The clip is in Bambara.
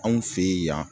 Anw fe ye yan